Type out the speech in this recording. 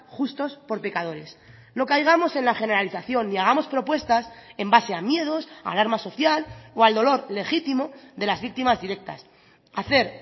justos por pecadores no caigamos en la generalización y hagamos propuestas en base a miedos alarmas social o al dolor legítimo de las víctimas directas hacer